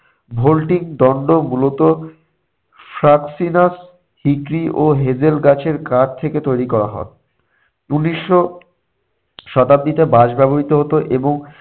vaulting দণ্ড মূলত ফ্রাক্সিনাস হিটরি ও হেঁদেল গাছের কাঠ থেকে তৈরি করা হয়। উনিশশো শতাব্দীতে বাঁশ ব্যবহৃত হতো এবং